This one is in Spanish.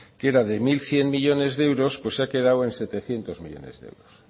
que era de mil cien millónes de euros pues ha quedado en setecientos millónes